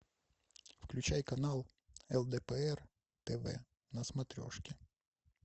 включай канал лдпр тв на смотрешке